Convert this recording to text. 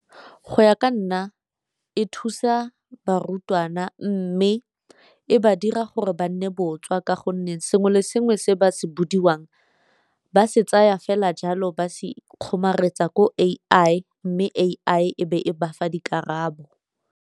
Go ya ka nna e thusa barutwana, mme e ba dira gore ba nne botswa ka gonne sengwe le sengwe se ba se bodiwang ba se tsaya fela jalo ba se kgomaretsa ko A_I mme A_I e be e bafa dikarabo.